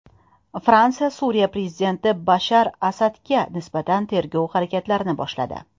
Fransiya Suriya prezidenti Bashar Asadga nisbatan tergov harakatlarini boshladi.